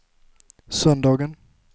söndagen